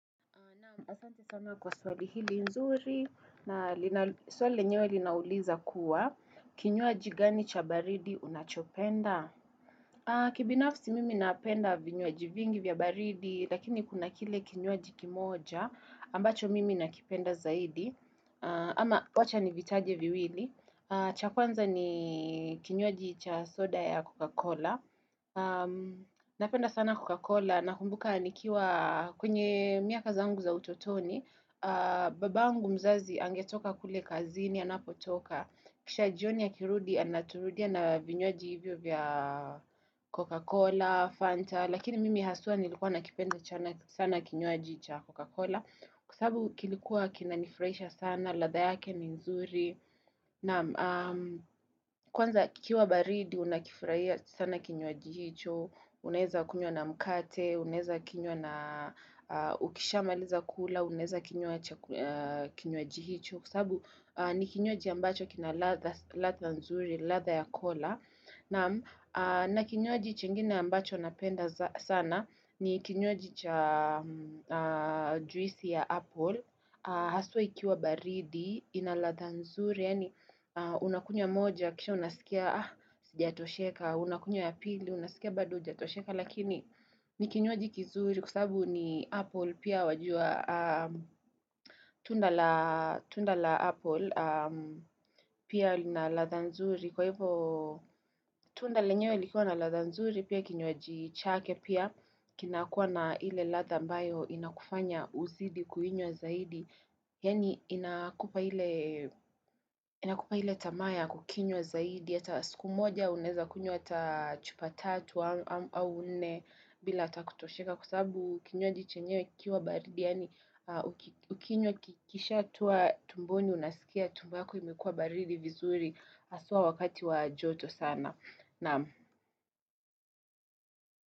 Naam asante sana kwa swali hili nzuri, nali na swali linyewe linauliza kuwa, kinywaji gani cha baridi unachopenda? Kibinafsi mimi napenda vinywaji vingi vya baridi, lakini kuna kile kinywaji kimoja, ambacho mimi nakipenda zaidi. Ama wacha nivitaje viwili. Cha kwanza ni kinywaji cha soda ya Coca-Cola. Napenda sana Coca-Cola Nakumbuka nikiwa kwenye miaka zangu za utotoni Babangu mzazi Angetoka kule kazini Anapotoka Kisha jioni akirudi Anaturudia na vinywaji hivyo vya Coca-Cola, Fanta Lakini mimi haswaa nilikuwa nakipenda jana sana kinywaji cha Coca-Cola Kwa sababu kilikuwa kina nifurahisha sana ladha yake ni nzuri Kwanza kikiwa baridi Unakifurahia sana kinywaji hicho, unaeza kinywa na mkate, unaeza kinywa na ukisha maliza kula, unaeza kinywa cha kinywaji hicho Kwa sababu ni kinywaji ambacho kina latha nzuri, latha ya kola na kinywaji chingine ambacho napenda za sana ni kinywaji cha juisi ya Apple Haswaa ikiwa baridi inalatha nzuri Yani unakunya moja kisha unasikia hujatosheka Unakunya ya pili unasikia bado hujatosheka Lakini ni kinywaji kizuri kwa sababu ni Apple pia wajua Tunda la Apple pia inalatha nzuri Kwa hivyo tunda lenyewe likuwa latha nzuri pia kinywaji chake pia Kinakuwa na ile latha ambayo inakufanya uzidi kuinywa zaidi Yani inakupa ile tamaa ya kukinywa zaidi, hata siku moja unaeza kunywa hataa chupa tatu au nne bila hata kutosheka kwa sababu kinywaji chenyewe kikiwa baridi, yani ukinywa ukikisha toa tumboni unasikia tumbo yako imekua baridi vizuri haswaa wakati wa joto sana.